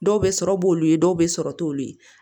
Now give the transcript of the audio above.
Dɔw bɛ sɔrɔ b'olu ye dɔw bɛ sɔrɔ t'olu ye